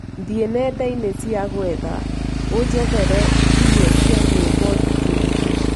thie nendaini cĩa gũetha unjethereĩmwe cĩa nyĩmbo thikĩrirĩe